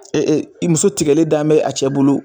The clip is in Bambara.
muso tigɛlen dalen bɛ a cɛ bolo